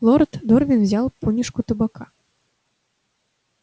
лорд дорвин взял понюшку табака